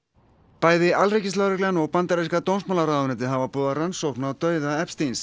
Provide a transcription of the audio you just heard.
bæði alríkislögreglan og bandaríska dómsmálaráðuneytið hafa boðað rannsókn á dauða